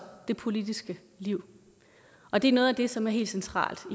det politiske liv og det er noget af det som er helt centralt